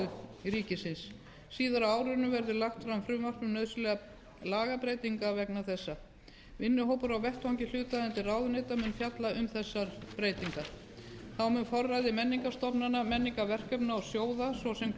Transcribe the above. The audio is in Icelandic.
og framkvæmdasýslu ríkisins síðar á árinu verður lagt fram frumvarp um nauðsynlegar lagabreytingar vegna þessa vinnuhópar á vettvangi hlutaðeigandi ráðuneyta munu fjalla um þessar breytingar þá mun forræði menningarstofnana menningarverkefna og sjóða ss